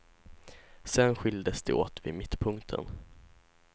Sen skiljdes de åt vid mittpunkten.